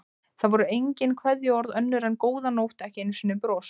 Það voru engin kveðjuorð önnur en góða nótt, ekki einu sinni bros.